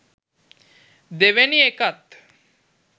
දෙවෙනි එකත්